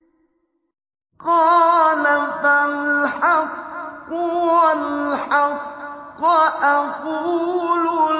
قَالَ فَالْحَقُّ وَالْحَقَّ أَقُولُ